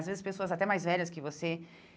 Às vezes, pessoas até mais velhas que você.